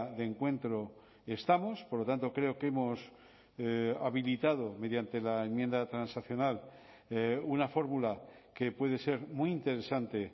de encuentro estamos por lo tanto creo que hemos habilitado mediante la enmienda transaccional una fórmula que puede ser muy interesante